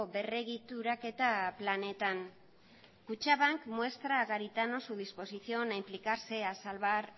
berregituraketa planetan kutxabank muestra a garitano su disposición a implicarse a salvar